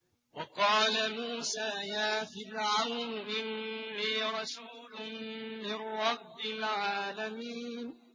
وَقَالَ مُوسَىٰ يَا فِرْعَوْنُ إِنِّي رَسُولٌ مِّن رَّبِّ الْعَالَمِينَ